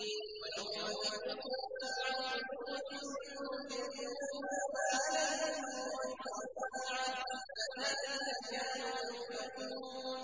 وَيَوْمَ تَقُومُ السَّاعَةُ يُقْسِمُ الْمُجْرِمُونَ مَا لَبِثُوا غَيْرَ سَاعَةٍ ۚ كَذَٰلِكَ كَانُوا يُؤْفَكُونَ